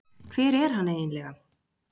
Hver er hann eiginlega